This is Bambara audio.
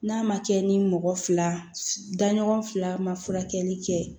N'a ma kɛ ni mɔgɔ fila daɲɔgɔn fila ma furakɛli kɛ